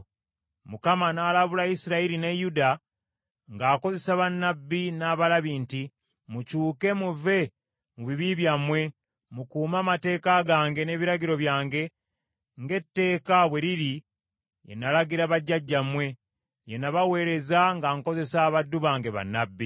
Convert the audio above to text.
Mukama n’alabula Isirayiri ne Yuda ng’akozesa bannabbi n’abalabi nti, “Mukyuke muve mu bibi byammwe, mukuume amateeka gange n’ebiragiro byange, ng’etteeka bwe liri lye nalagira bajjajjammwe, lye nabaweereza nga nkozesa abaddu bange bannabbi.”